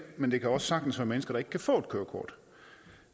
men det kan også sagtens være mennesker som ikke kan få et kørekort